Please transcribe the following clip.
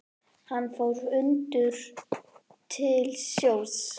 Hann fór ungur til sjós.